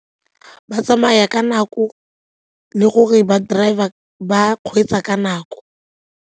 Ba tsamaya ka nako le gore ba kgweetsa ka nako.